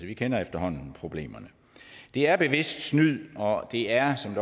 vi kender efterhånden problemerne det er bevidst snyd og det er som